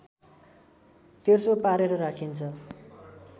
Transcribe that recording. तेर्सो पारेर राखिन्छ